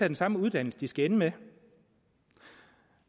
den samme uddannelse de skal ende med